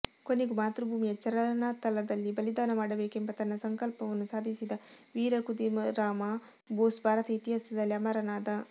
ಕೊನೆಗೂ ಮಾತೃಭೂಮಿಯ ಚರಣತಲದಲ್ಲಿ ಬಲಿದಾನ ಮಾಡಬೇಕೆಂಬ ತನ್ನ ಸಂಕಲ್ಪವನ್ನು ಸಾಧಿಸಿದ ವೀರ ಖುದೀರಾಮ ಬೋಸ್ ಭಾರತ ಇತಿಹಾಸದಲ್ಲಿ ಅಮರನಾದ